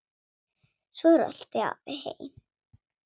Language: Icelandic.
Svo rölti afi heim.